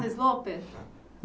Sloper?